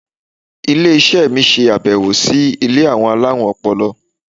Ilé iṣẹ́ mi ṣe abẹwo sí ilé àwọn alárùn ọpọlọ.